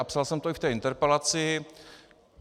A psal jsem to i v té interpelaci.